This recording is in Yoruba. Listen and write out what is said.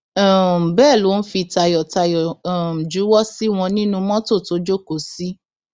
um bẹẹ ló ń fi tayọtayọ um juwọ sí wọn nínnu mọtò tó jókòó sí